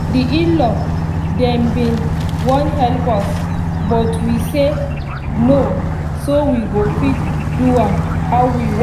the in-law dem been wan help us but we say no so we go fit do am how we wan